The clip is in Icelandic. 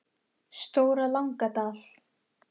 Stóra Langadal